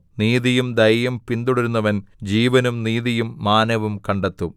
നീതിയും ദയയും പിന്തുടരുന്നവൻ ജീവനും നീതിയും മാനവും കണ്ടെത്തും